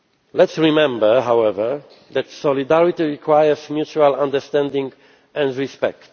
EU. Let us remember, however, that solidarity requires mutual understanding and respect.